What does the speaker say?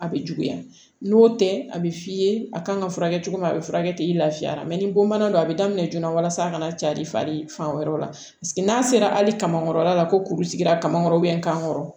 A bɛ juguya n'o tɛ a bɛ f'i ye a kan ka furakɛ cogo min a bɛ furakɛ i lafiyara ni bonbana don a bɛ daminɛ joona walasa a kana cari fari fan wɛrɛw la n'a sera hali kamankɔrɔla la ko kuru sigira ka kan kɔrɔ kan kɔrɔ